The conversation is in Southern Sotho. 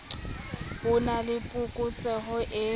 ho na le phokotseho e